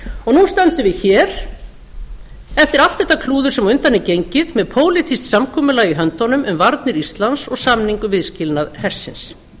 núna stöndum við hér eftir allt þetta klúður sem á undan er gengið með pólitískt samkomulag í höndunum um varnir íslands og samning um viðskilnað hersins